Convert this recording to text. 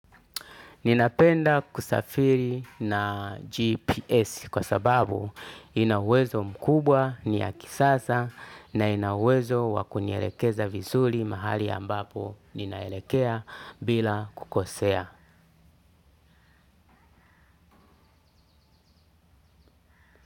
Ninapenda kusafiri na GPS kwa sababu ina uwezo mkubwa ni ya kisasa na inawezo wa kunielekeza vizuri mahali ambapo ninaelekea bila kukosea.